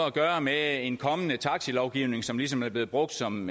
at gøre med en kommende taxilovgivning som ligesom er blevet brugt som